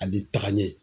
Ani tagaɲɛ